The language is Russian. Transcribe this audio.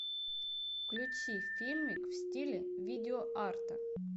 включи фильмик в стиле видеоарта